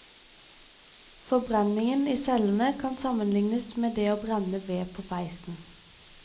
Forbrenningen i cellene kan sammenlignes med det å brenne ved på peisen.